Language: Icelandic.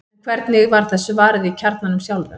en hvernig var þessu varið í kjarnanum sjálfum